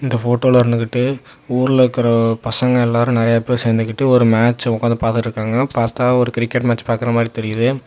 இந்த ஃபோட்டோல இருந்துகிட்டு ஊர்ல இருக்கிற பசங்க எல்லாம் நறைய பேர் சேர்ந்து கிட்டு ஒரு மேட்ச் உக்காந்துட்டு பார்த்துட்டு இருக்காங்க பாத்தா ஒரு கிரிக்கெட் மேட்ச் பாக்குற மாதிரி தெரியுது.